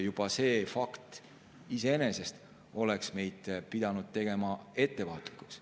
Juba see fakt iseenesest oleks meid pidanud tegema ettevaatlikuks.